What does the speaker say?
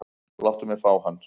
Láttu mig fá hann.